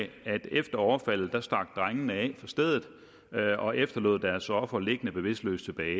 at efter overfaldet stak drengene af fra stedet og efterlod deres offer liggende bevidstløs tilbage